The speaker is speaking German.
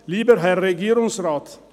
Lieber Herr Regierungsrat,